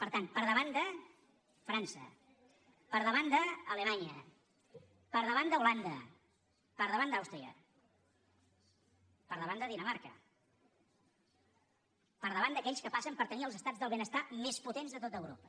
per tant per davant de frança per davant d’alemanya per davant d’holanda per davant d’àustria per davant de dinamarca per davant d’aquells que passen per tenir els estats del benestar més potents de tot europa